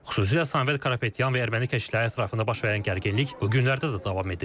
Xüsusilə Samvel Karapetyan və erməni keşişləri ətrafında baş verən gərginlik bu günlərdə də davam edir.